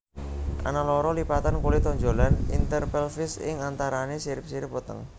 Ana loro lipatan kulit tonjolan interpelvis ing antarané sirip sirip weteng